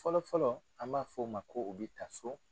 Fɔlɔ-fɔlɔ an b'a fɔ o ma ko o bɛ ta so